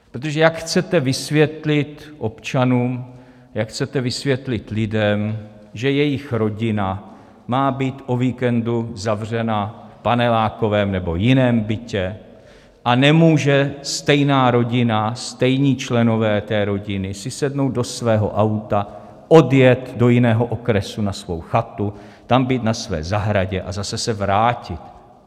Protože jak chcete vysvětlit občanům, jak chcete vysvětlit lidem, že jejich rodina má být o víkendu zavřena v panelákovém nebo jiném bytě, a nemůže stejná rodina, stejní členové té rodiny, si sednout do svého auta, odjet do jiného okresu na svou chatu, tam být na své zahradě a zase se vrátit?